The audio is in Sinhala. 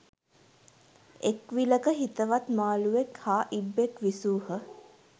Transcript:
එක් විලක හිතවත් මාළුවෙක් හා ඉබ්බෙක් විසූහ.